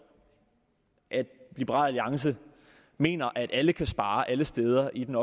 at liberal alliance mener at alle kan spare alle steder i den